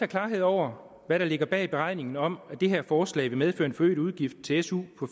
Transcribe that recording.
klarhed over hvad der ligger bag beregningen om at det her forslag vil medføre en forøget udgift til su